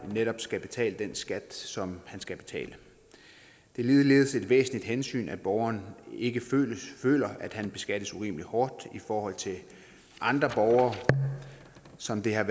netop skal betale den skat som skal betales det er ligeledes et væsentligt hensyn at borger ikke føler at han beskattes urimelig hårdt i forhold til andre borgere som det har